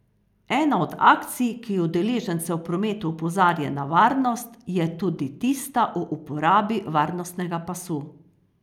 Ena od akcij, ki udeležence v prometu opozarja na varnost, je tudi tista o uporabi varnostnega pasu.